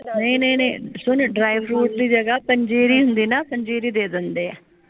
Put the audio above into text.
ਨਹੀਂ ਨਹੀਂ ਨਹੀਂ ਸੁਨ ਡ੍ਰਾਈ ਫਰੂਟ ਦੀ ਜਗਾ ਪੰਜੀਰੀ ਹੁੰਦੀ ਨਾ ਪੰਜੀਰੀ ਦੇ ਦੰਦੇ ਆ